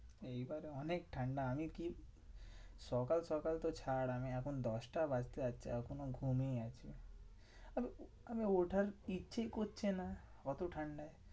এইবারে অনেক ঠান্ডা। আমি কি? সকাল সকাল তো ছাড় আমি এখন দশটা বাজতে যাচ্ছে এখনও ঘুমিয়েই আছি। আম~ আমি ওঠার ইচ্ছে করছে না ওতো ঠান্ডায়।